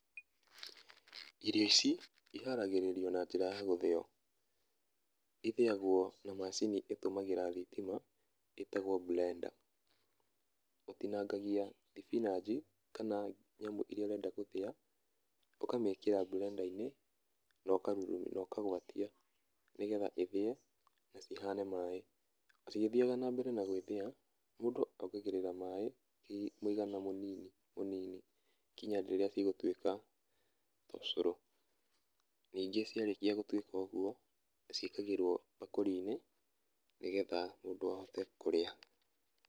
Irio ici iharagĩrĩrio na njĩra ya gũthĩo. Ithĩagwo na macini ĩtũmagĩra thitima ĩtagwo mburenda. Ũtinangagia thibinanji kana nyamũ iria ũrenda gũthĩa, ũkamĩkĩra mburenda-inĩ na ũkagwatia nĩgetha ĩthĩe na cihane maĩ, na cigĩthiaga na mbere gũthĩa, mũndũ ongagĩrĩra maĩ mũigana mũnini mũnini nginya rĩrĩa cigũtuĩka ũcũrũ. Ningĩ ciatuĩka gũtuĩka ũguo, ciĩkagĩrwo mbakũrinĩ nĩgetha mũndũ ahote kũrĩa.